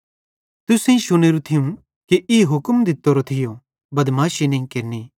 तुसेईं शुनेरू थियूं कि ई हुक्म दित्तोरो थियो बदमाशी नईं केरनि